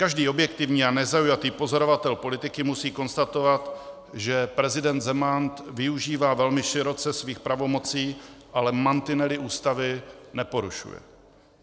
Každý objektivní a nezaujatý pozorovatel politiky musí konstatovat, že prezident Zeman využívá velmi široce svých pravomocí, ale mantinely Ústavy neporušuje.